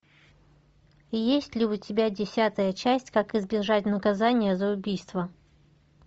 есть ли у тебя десятая часть как избежать наказания за убийство